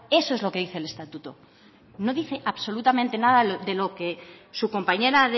eso es lo que dice el estatuto no dice absolutamente nada de lo que su compañera